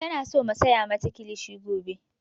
Tana so mu saya mata kilishi gobe